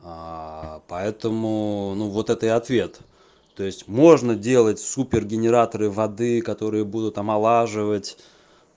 поэтому ну вот это и ответ то есть можно делать супергенераторы воды которые будут омолаживать